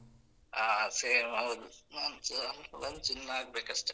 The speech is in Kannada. ಹಾ, same ಹೌದು ನಾನ್ಸ lunch ಇನ್ನಾಗ್ಬೇಕಷ್ಟೆ.